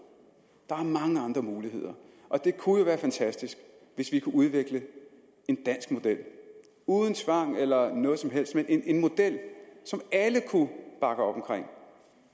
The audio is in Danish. der er mange andre muligheder det kunne jo være fantastisk hvis vi kunne udvikle en dansk model uden tvang eller noget som helst men en model som alle kunne bakke op om